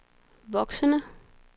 voksende